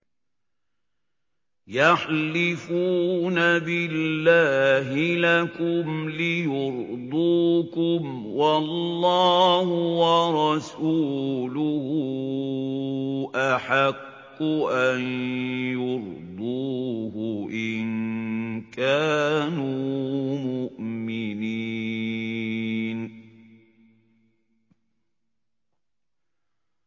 يَحْلِفُونَ بِاللَّهِ لَكُمْ لِيُرْضُوكُمْ وَاللَّهُ وَرَسُولُهُ أَحَقُّ أَن يُرْضُوهُ إِن كَانُوا مُؤْمِنِينَ